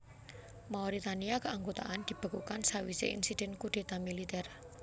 Mauritania Keanggotaan dibekukan sawisé insiden kudéta militer